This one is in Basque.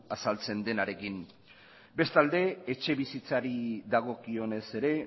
azaltzen denarekin bestalde etxebizitzari dagokionez ere